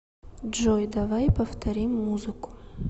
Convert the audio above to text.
джой давай повторим музыку